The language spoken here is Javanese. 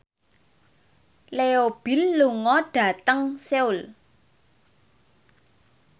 Leo Bill lunga dhateng Seoul